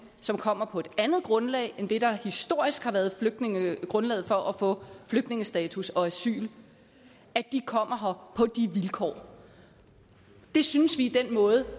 som kommer på et andet grundlag end det der historisk har været grundlaget for at få flygtningestatus og asyl kommer her på de vilkår det synes vi er den måde